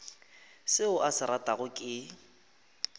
seo a se ratago ke